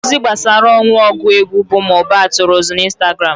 Ozi gbasara ọnwụ ọgụ egwu bụ Mohbad tụrụ ụzụ na Instagram.